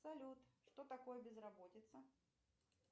салют что такое безработица